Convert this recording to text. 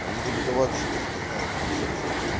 они как будто вообще даже не знают про что что